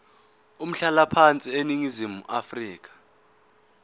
umhlalaphansi eningizimu afrika